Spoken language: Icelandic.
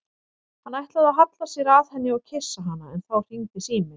Hann ætlaði að halla sér að henni og kyssa hana en þá hringdi síminn.